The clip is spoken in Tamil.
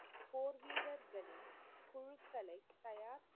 போர்வீரர்களின் குழுக்களை தயார்,